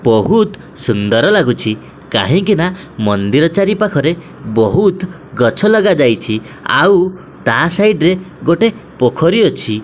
ବହୁତ୍ ସୁନ୍ଦର ଲାଗୁଛି କାହିଁକିନା ମନ୍ଦିର ଚାରିପାଖରେ ବହୁତ୍ ଗଛ ଲଗାଯାଇଛି ଆଉ ତା ସାଇଡ୍ ରେ ଗୋଟେ ପୋଖୋରୀ ଅଛି।